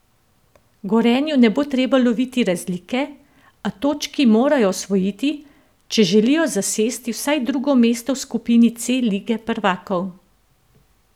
Gorenju ne bo treba loviti razlike, a točki morajo osvojiti, če želijo zasesti vsaj drugo mesto v skupini C lige prvakov.